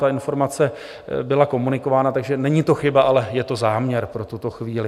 Ta informace byla komunikována, takže není to chyba, ale je to záměr pro tuto chvíli.